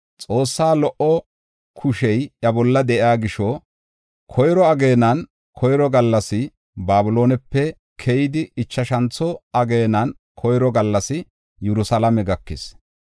Xoossaa lo77o kushey iya bolla de7iya gisho koyro ageenan koyro gallassi Babiloonepe keyidi, ichashantho ageenan koyro gallas Yerusalaame gakis.